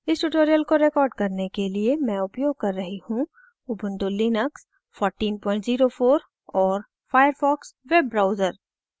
इस tutorial को record करने के लिए मैं उपयोग कर रही हूँ ubuntu linux 1404 और firefox web browser